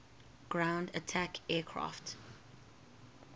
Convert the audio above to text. ground attack aircraft